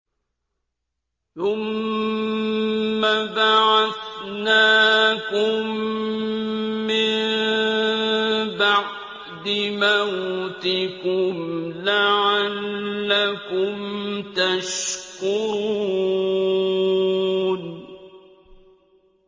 ثُمَّ بَعَثْنَاكُم مِّن بَعْدِ مَوْتِكُمْ لَعَلَّكُمْ تَشْكُرُونَ